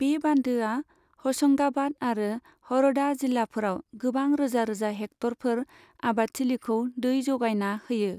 बे बान्दोआ हशंगाबाद आरो हरदा जिल्लाफोराव गोबां रोजा रोजा हेक्ट'रफोर आबादथिलिखौ दै जगायना होयो।